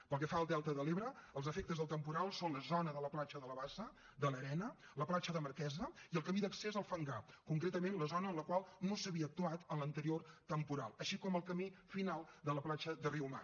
pel que fa al delta de l’ebre els efectes del temporal són la zona de la platja de la bassa de l’arena la platja de marquesa i el camí d’accés al fangar concretament la zona en la qual no s’havia actuat en l’anterior temporal així com el camí final de la platja de riumar